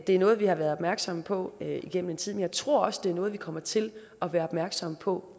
er noget vi har været opmærksomme på igennem en tid men jeg tror også det er noget vi kommer til at være opmærksomme på